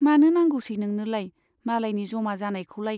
मानो नांगौसै नोंनोलाय मालायनि जमा जानायखौलाय ?